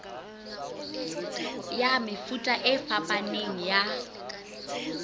ya mefuta e fapaneng ya